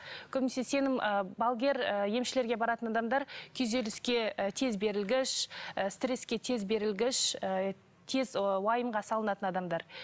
көбінесе сенім ы балгер ы емшілерге баратын адамдар күйзеліске ы тез берілгіш ы стреске тез берілгіш ы тез ы уайымға салынатын адамдар